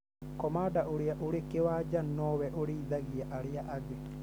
Komanda ũrĩa wĩ kĩwanja nowe ũrĩithagia arĩa angĩ